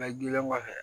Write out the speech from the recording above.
Bɛɛ gili kɔfɛ